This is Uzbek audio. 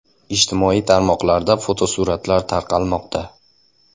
Ijtimoiy tarmoqlarda fotosuratlar tarqalmoqda.